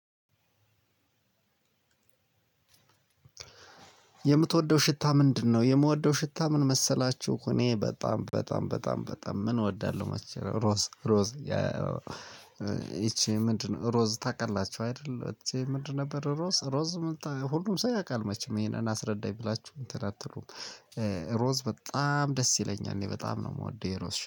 የምትወደው ሽታ ምንድነው? የምወደው ሽታ ምን መሰላችሁ እኔ በጣም በጣም በጣም በጣም ምን እወዳለሁ መቼም ሮዝ ሮዝ። ይቺ ምንድነው ሮዝ ታውቃላችሁ አይደለም ይቺ ምንድነው ነበር። ሮዝ ሮዝ ምን ሁሉም ሰው ያውቃል መቼም ይሄንን አስረዳኝ ብላችሁ እንትን አትሉም። ሮዝ በጣም ደስ ይለኛል እኔ በጣም ነው የምወደው የሮዝ